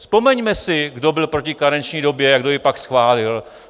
Vzpomeňme si, kdo byl proti karenční době a kdo ji pak schválil.